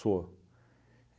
Sou.